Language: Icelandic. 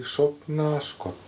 sofna